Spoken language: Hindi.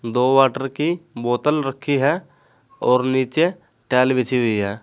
दो वाटर की बोतल रखी हैं और नीचे टाइल बिछी हुई है।